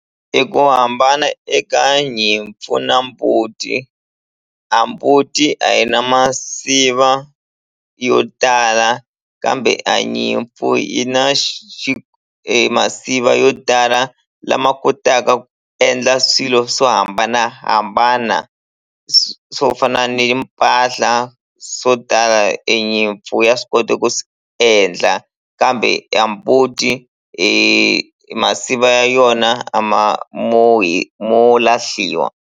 Eku hambana eka nyimpfu na mbuti a mbuti a yi na masiva yo tala kambe a nyimpfu yi na e masiva yo tala lama kotaka ku endla swilo swo hambanahambana swo fana ni mpahla swo tala e nyimpfu ya swi kota ku swi endla kambe a mbuti masiva yona a ma mo mo lahliwa.